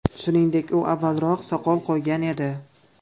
Shuningdek, u avvalroq soqol qo‘ygan edi.